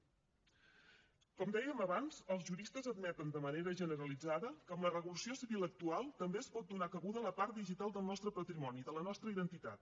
com dèiem abans els juristes admeten de manera generalitzada que amb la regulació civil actual també es pot donar cabuda a la part digital del nostre patrimoni de la nostra identitat